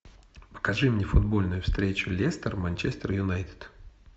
покажи мне футбольную встречу лестер манчестер юнайтед